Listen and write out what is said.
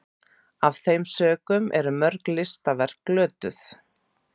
af þeim sökum eru mörg listaverk glötuð